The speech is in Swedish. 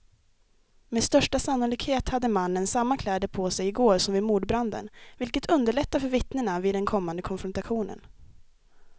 Med största sannolikhet hade mannen samma kläder på sig i går som vid mordbranden, vilket underlättar för vittnena vid den kommande konfrontationen.